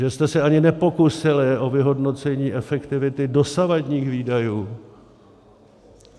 Že jste se ani nepokusili o vyhodnocení efektivity dosavadních výdajů!